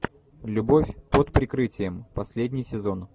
любовь под прикрытием последний сезон